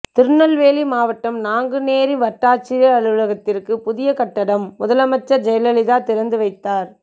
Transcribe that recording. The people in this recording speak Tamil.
திருநெல்வேலி மாவட்டம் நாங்குநேரி வட்டாட்சியர் அலுவலகத்திற்கு புதிய கட்டடம் முதலமைச்சர் ஜெயலலிதா திறந்து வைத்தார்